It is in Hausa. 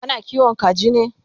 kana kiwon kaji ne?